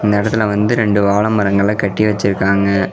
இந்த எடத்துல வந்து ரெண்டு வாழ மரங்கள கட்டி வெச்சிருக்குறாங்க.